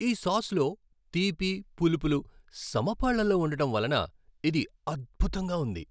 ఈ సాస్లో తీపి, పులుపులు సమపాళ్ళలో ఉండటం వలన ఇది అద్భుతంగా ఉంది.